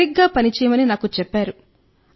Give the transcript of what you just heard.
సరిగ్గా పని చేయమని నాకు చెప్పారు